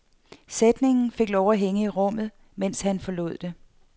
Sætningen fik lov at hænge i rummet, mens han forlod det.